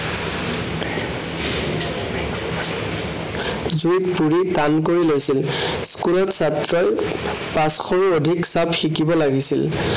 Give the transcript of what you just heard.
জুুইত পৰি টান কৰি লৈছিল। school ত ছাত্ৰই পাঁচশৰো অধিক চাপ শিকিব লাগিছিল।